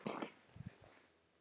Hún var líka góð móðir.